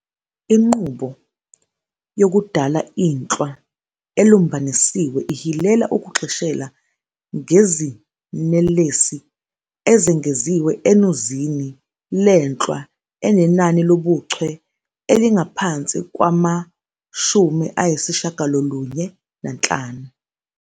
Inqubo yokudala inhlwa elumbanisiwe ihilela ukugxishela ngezinelesi ezengeziwe enuzini lenhlwa enenani lobuchwe elingaphansi kwama-95.